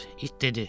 İt dedi.